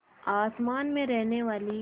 आसमान में रहने वाली